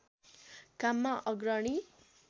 काममा अग्रणी